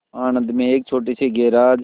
आणंद में एक छोटे से गैराज